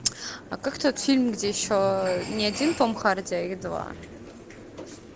а как тот фильм где еще не один том харди а их два